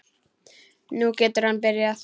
Nú getur hann byrjað.